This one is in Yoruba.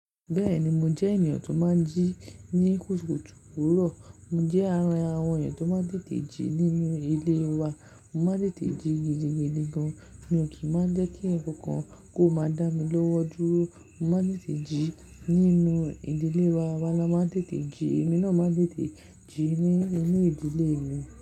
Bẹ́ẹ̀ni mo jẹ́ èeyàn tó máa ń jí ní kùtùkùtù òwúrọ̀. Mo jẹ́ ara àwọn èèyàn tó máa ń tètè jí nínú ilé wa. Mo máa ń tètè jí gidigidi gan. Mi ò kí má jẹ́ kí ǹkan kan kó máa dá mi lọ́wọ́ dúró. Mo máa ń tètè jí nínú ìdílé wa, awá lá máa ń tètè jí, èmi náà máa ń tètè jí ní inú ìdílé mi.